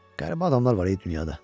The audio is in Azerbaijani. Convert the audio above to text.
Qəribə adamlar var e dünyada.